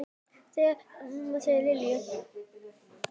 Þannig var amma Lillý.